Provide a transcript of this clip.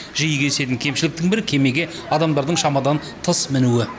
жиі кездесетін кемшіліктің бірі кемеге адамдардың шамадан тыс мінуі